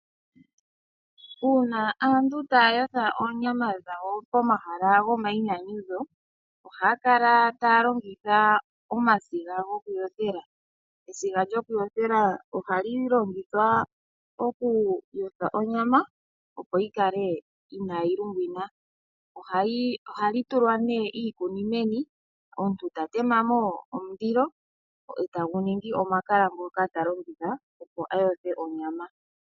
Una aantu taya yotha onyama dhawo pomahala gomainyanyudho ohaya kala taya longitha omasiga goku yothela. Esiga lyoku yothela ohali longithwa oku yotha onyama opo yi kale inayi lungwina, ohali tulwa ne iikuni meni ndele omuntu eta temamo omundilo etagu ningi omakala ngoka talongitha opo ayothe onyama.